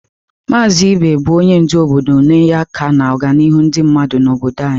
Maazị Ibe bụ onye ndu obodo na-enye aka n'ọganihu ndị mmadụ n'obodo anyị.